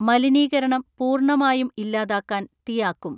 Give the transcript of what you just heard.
മലിനീകരണം പൂർണ്ണമായും ഇല്ലാതാക്കാൻ തിയാക്കും.